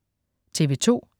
TV2: